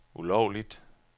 ulovligt